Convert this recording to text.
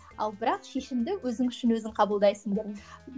ал бірақ шешімді өзің үшін өзің қабылдайсың деп